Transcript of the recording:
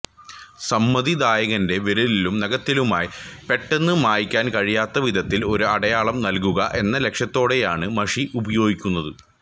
സമ്മതിദായകന്റെ വിരലിലും നഖത്തിലുമായി പെട്ടെന്നു മായ്ക്കാൻ കഴിയാത്ത വിധത്തിൽ ഒരു അടയാളം നൽകുക എന്ന ലക്ഷ്യത്തോടെയാണ് മഷി ഉപയോഗിക്കുന്നത്